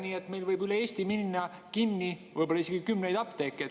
Üle Eesti võib minna kinni isegi kümneid apteeke.